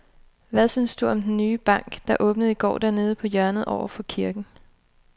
Hvad synes du om den nye bank, der åbnede i går dernede på hjørnet over for kirken?